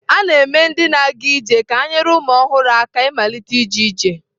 A na-eme ndị na-aga ije ka ha nyere ụmụ ọhụrụ aka ịmalite ije ije.